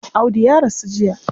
Audu ya rasu jiya.